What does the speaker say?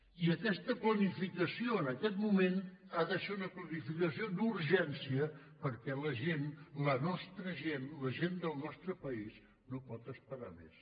i aquesta planificació en aquest moment ha de ser una planificació d’urgència perquè la gent la nostra gent la gent del nostre país no pot esperar més